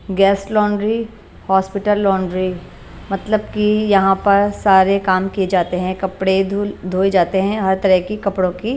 gas laundry hospital laundry मतलब कि यहां पर सारे काम किए जाते हैं कपड़े ध धोए जाते हैं हर तरह की कपड़ों की --